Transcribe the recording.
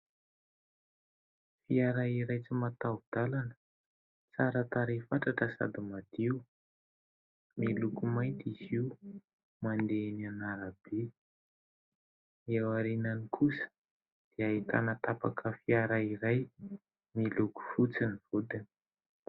Fiara iray tsy mataho-dalana tsara tarehy fatratra sady madio. Miloko mainty izy io, mandeha eny an'arabe. Eo aoriany kosa dia ahitana tapaka fiara iray, miloko fotsy ny vodiny.